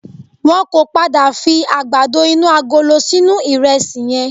Wọ́n ò pọ̀ padà fi àgbàdo inú agolo sínú ìrẹsì yẹn